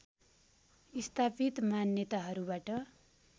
स्थापित मान्यताहरूबाट